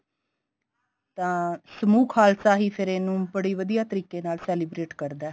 ਤਾਂ ਸਮੂਹ ਖਾਲਸਾ ਫੇਰ ਇਹਨੂੰ ਬੜੀ ਵਧੀਆ ਤਰੀਕੇ ਨਾਲ celebrate ਕਰਦਾ